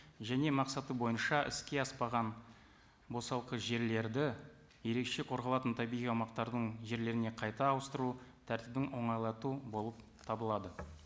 және мақсаты бойынша іске аспаған босалқы жерлерді ерекше қорғалатын табиғи аумақтардың жерлеріне қайта ауыстыру тәртібін оңайлату болып табылады